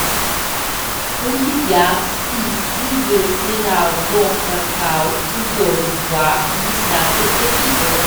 у тебя в списке есть сериал доктор хаус сезон два десятый эпизод